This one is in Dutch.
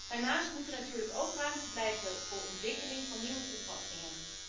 Daarnaast moet er natuurlijk ook ruimte blijven voor ontwikkeling van nieuwe toepassingen.